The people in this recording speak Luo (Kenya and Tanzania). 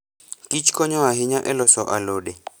Kich konyo ahinya e loso alode.